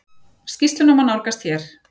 Skýrsluna má nálgast hér.